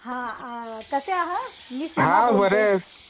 हा कसे आहात मी बोलते